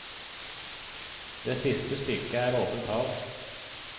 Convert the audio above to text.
Det siste stykket er åpent hav.